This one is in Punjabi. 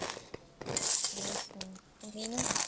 ਅੱਛਾ ਤੇ ਮੀਨੂ।